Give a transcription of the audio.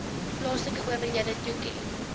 plaaslike owerhede toeken